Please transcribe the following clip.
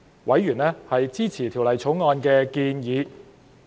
委員支持《條例草案》的建議。